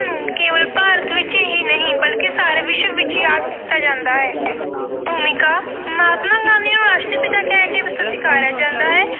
ਆਪ ਨੂੰ ਕੇਵਲ ਭਾਰਤ ਵਿੱਚ ਹੀ ਨਹੀਂ ਸਗੋਂ ਸਾਰੇ ਵਿਸ਼ਵ ਵਿੱਚ ਯਾਦ ਕੀਤਾ ਜਾਂਦਾ ਹੈ। ਭੂਮਿਕਾ- ਮਹਾਤਮਾ ਗਾਂਧੀ ਨੂੰ ਰਾਸ਼ਟਰ ਪਿਤਾ ਕਹਿ ਕੇ ਵੀ ਸਤਿਕਾਰਿਆ ਜਾਂਦਾ ਹੈ।